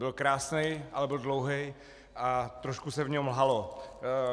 Byl krásný, ale byl dlouhý a trošku se v něm lhalo.